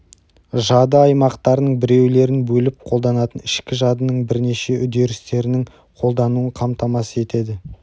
жады аймақтарының біреулерін бөліп қолданатын ішкі жадының бірнеше үдерістерінің қолдануын қамтамасыз етеді